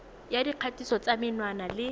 ya dikgatiso tsa menwana le